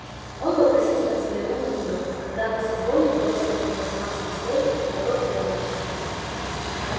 он вопросительно взглянул на неё когда она со звоном бросила на пластмассовый стол моток плёнки